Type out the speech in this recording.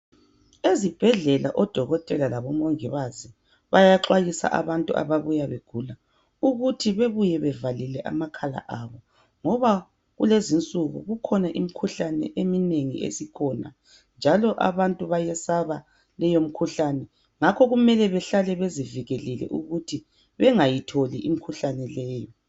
Ezibhedlela odokotela lobomongikazi bayaxwayisa abantu ababuya begula, ukuthi bebuye bevalile amakhala abo ngoba kulezi insuku kukhona imikhuhlane eminengi esikhona njalo abantu bayesaba leyomikhuhlane. Ngakho kumele behlale bezivikelile ukuthi bengayitholi imikhuhlane leyo.